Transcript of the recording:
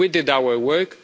We did our work.